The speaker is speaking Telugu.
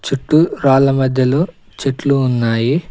చుట్టూ రాళ్ల మధ్యలో చెట్లు ఉన్నాయి.